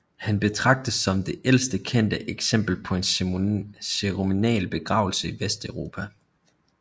Han betragtes som det ældste kendte eksempel på en ceremoniel begravelse i Vesteuropa